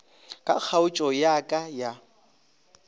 ka kgaotšo ya ka ya